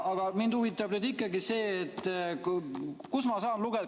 Aga mind huvitab ikkagi see, kust ma saan lugeda.